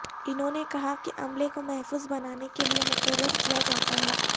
انہوں نے کہا کہ عملے کو محفوظ بنانے کے لئے مقرر کیا جاتا ہے